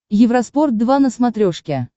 евроспорт два на смотрешке